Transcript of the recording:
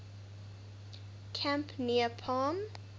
camp near palm